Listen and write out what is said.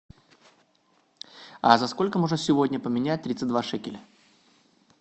а за сколько можно сегодня поменять тридцать два шекеля